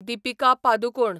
Deepika Padukone